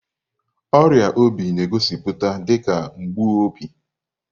Ọrịa obi na-egosipụta dị ka mgbu obi.